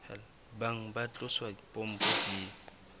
bang ba tlosa pompo pele